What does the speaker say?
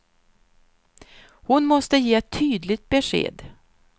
Hon måste ge ett tydligt besked.